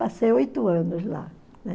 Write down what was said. Passei oito anos lá, né?